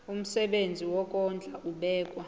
umsebenzi wokondla ubekwa